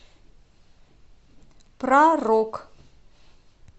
про рок